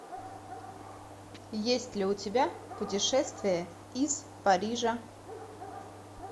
есть ли у тебя путешествие из парижа